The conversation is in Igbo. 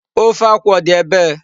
Ofe akwụ ọ dị ebee?